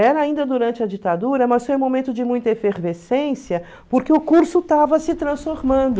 Era ainda durante a ditadura, mas foi um momento de muita efervescência, porque o curso estava se transformando.